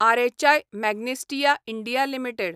RHI Magnesita India limited